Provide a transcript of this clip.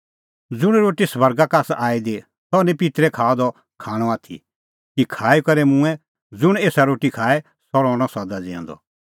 ज़ुंण रोटी स्वर्गा का आसा आई दी सह निं पित्तरै खाअ द खाण आथी कि खाई करै मूंऐं ज़ुंण एसा रोटी खाए सह रहणअ सदा ज़िऊंदअ